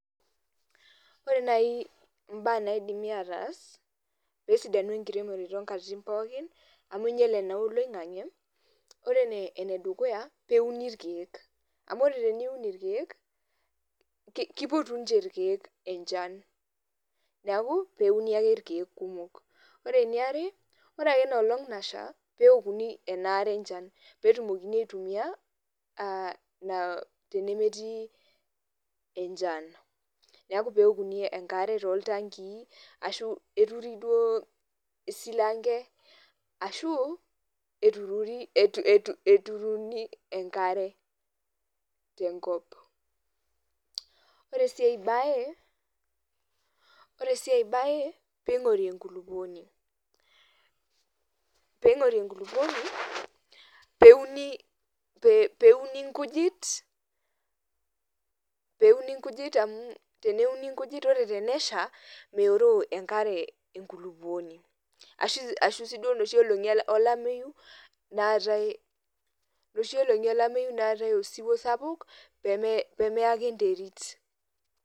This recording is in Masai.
Ore nai imbaa naidimi ataas, pesidanu enkiremore tonkatitin pookin, amu inyale naa oloing'ang'e, ore enedukuya, peuni irkeek. Amu ore teneuni irkeek, kipotu nche irkeek enchan. Neeku, peuni ake irkeek kumok. Ore eniare, ore ake enoolong' nasha, peokuni enaare enchan. Petumokini aitumia, tenemetii enchan. Neeku peokuni enkare toltankii, ashu eturi duo isilanke ashu, eturuni enkare tenkop. Ore si ai bae, ping'ori enkulukuoni. Ping'ori enkulukuoni, peuni nkujit, peuni nkujit amu ore tenesha, meoroo enkare enkulukuoni. Ashu si duo noshi olong'i olameyu, naatae, noshi olong'i olameyu naatae osiwuo sapuk, pemeake enterit.